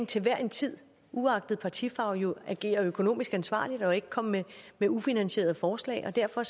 til hver en tid uagtet partifarve jo agere økonomisk ansvarligt og ikke komme med ufinansierede forslag og derfor